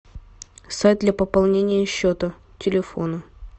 сайт для пополнения счета телефона